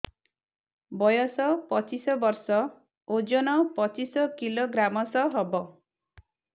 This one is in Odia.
ବୟସ ପଚିଶ ବର୍ଷ ଓଜନ ପଚିଶ କିଲୋଗ୍ରାମସ ହବ